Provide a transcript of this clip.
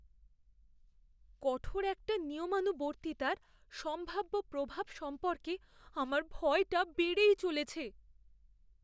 কঠোর একটা নিয়মানুবর্তিতার সম্ভাব্য প্রভাব সম্পর্কে আমার ভয়টা বেড়েই চলেছে।